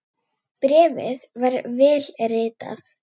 Bréfið var vel ritað.